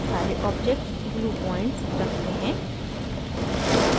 सारे objects glue points रखते हैं